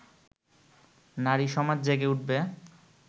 নারী সমাজ জেগে উঠবে